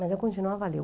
Mas eu continuava a ler.